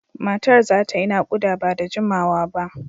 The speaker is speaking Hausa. Matar za ta yi nakuda ba da jimawa ba.